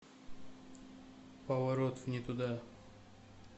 поворот не туда